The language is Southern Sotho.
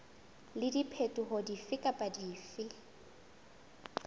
le diphetoho dife kapa dife